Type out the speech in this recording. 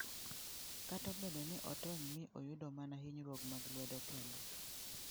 Kata obedo ni ne otony mi oyudo mana hinyruok mag lwedo kende.